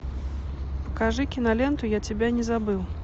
покажи киноленту я тебя не забыл